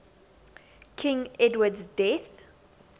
king edward's death